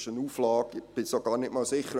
Ich bin sogar nicht einmal sicher: